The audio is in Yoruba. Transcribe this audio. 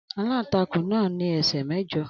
Aláǹtakùn náà ní ẹsẹ́ mẹ́jọ.